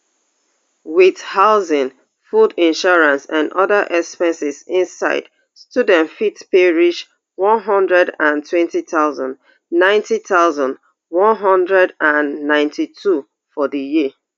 with housing food insurance and oda expenses inside students fit pay reach one hundred and twenty thousand ninety thousand, one hundred and ninety-two for di year